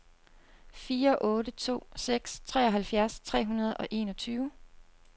fire otte to seks treoghalvfjerds tre hundrede og enogtyve